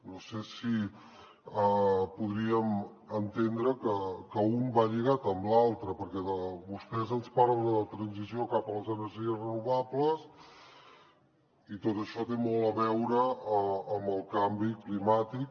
no sé si podríem entendre que un va lligat amb l’altre perquè vostès ens parlen de la transició cap a les energies renovables i tot això té molt a veure amb el canvi climàtic